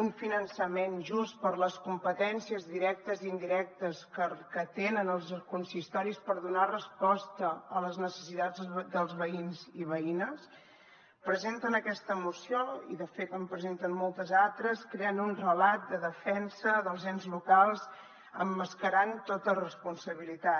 un finançament just per a les competències directes i indirectes que tenen els consistoris per donar resposta a les necessitats dels veïns i veïnes presenten aquesta moció i de fet en presenten moltes altres creant un relat de defensa dels ens locals emmascarant tota responsabilitat